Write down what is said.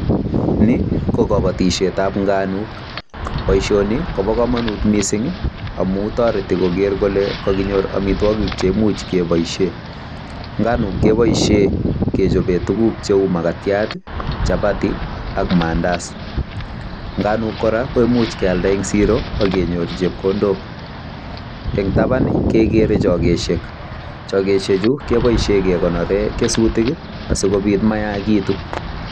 Ni ko kobotiisiet ab nganuk, boisioni kobo komonut mising amun toreti koger kole kaginyor amitwogik che imuch keboishen. Nganuk keboishen kechoben tuugk cheu: magatiat, chapati ak maandazi. Nganuk kora ko imuch kealda ne siro ak kenyor chepkondok. En taban kegere chogosiek. Chogosiek chu kebooishen kekonoren kesutik asikobit mayachegitu.